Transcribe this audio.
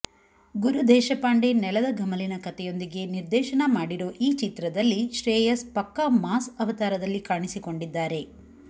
ಗುರುದೇಶಪಾಂಡೆ ನೆಲದ ಘಮಲಿನ ಕಥೆಯೊಂದಿಗೆ ನಿರ್ದೇಶನ ಮಾಡಿರೋ ಈ ಚಿತ್ರದಲ್ಲಿ ಶ್ರೇಯಸ್ ಪಕ್ಕಾ ಮಾಸ್ ಅವತಾರದಲ್ಲಿ ಕಾಣಿಸಿಕೊಂಡಿದ್ದಾರೆ